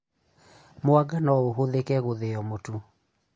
Mwanga no ũhũthike gũthĩo mũtu